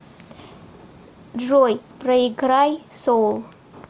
джой проиграй соул